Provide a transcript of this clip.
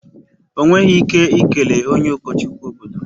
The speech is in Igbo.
Ọ nweghị ike ikele onye ụkọchukwu obodo.